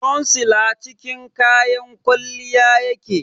concealer cikin kayan kwalliya yake